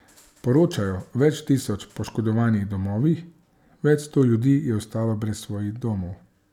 Poročajo o več tisoč poškodovanih domovih, več sto ljudi je ostalo brez svojih domov.